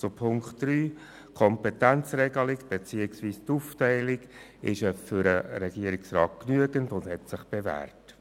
Zu Ziffer 3: Die Kompetenzregelung beziehungsweise die Aufteilung der Kompetenzen ist für den Regierungsrat genügend und hat sich bewährt.